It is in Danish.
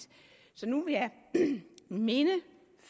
så nu vil jeg minde